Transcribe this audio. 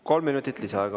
Kolm minutit lisaaega.